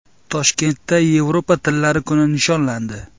Toshkentda Yevropa tillari kuni nishonlandi.